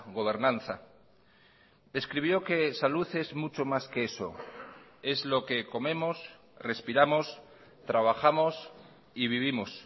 gobernanza escribió que salud es mucho más que eso es lo que comemos respiramos trabajamos y vivimos